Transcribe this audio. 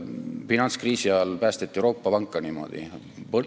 Finantskriisi ajal päästeti Euroopa panka niimoodi.